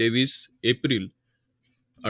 तेवीस एप्रिल